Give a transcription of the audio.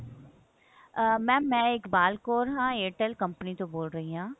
ah mam ਮੈਂ ਇਕਬਾਲ ਕੌਰ ਹਾਂ airtel company ਤੋਂ ਬੋਲ ਰਹੀ ਹਾਂ